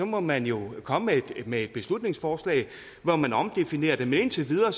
må man jo komme med et beslutningsforslag hvori man omdefinerer det men indtil videre er